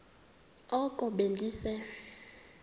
oko be ndise